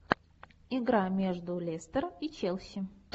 игра между лестер и челси